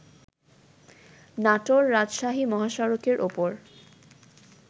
নাটোর-রাজশাহী মহাসড়কের ওপর